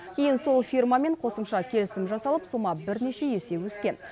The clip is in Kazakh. кейін сол фирмамен қосымша келісім жасалып сома бірнеше есе өскен